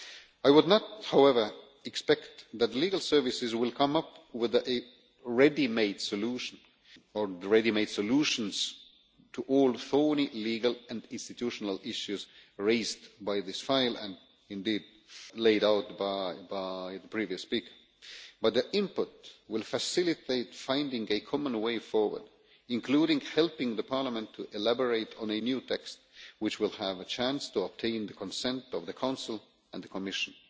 I would not however expect that the Legal Services will come up with a ready made solution, or ready made solutions, to all the thorny legal and institutional issues raised by this file, and indeed laid out by the previous speaker, but their input will facilitate finding a common way forward, including helping Parliament to elaborate on a new text which will have a chance to obtain the consent of the Council and the Commission.